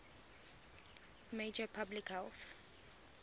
major public health